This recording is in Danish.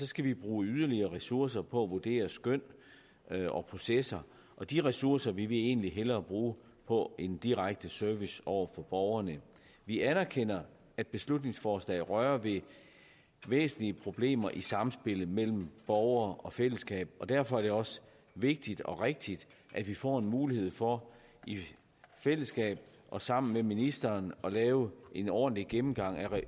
skal vi bruge yderligere ressourcer på at vurdere skøn og processer og de ressourcer vil vi egentlig hellere bruge på en direkte service over for borgerne vi anerkender at beslutningsforslaget rører ved væsentlige problemer i samspillet mellem borgere og fællesskab og derfor er det også vigtigt og rigtigt at vi får en mulighed for i fællesskab og sammen med ministeren at lave en ordentlig gennemgang